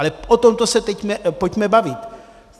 Ale o tom teď se pojďme bavit.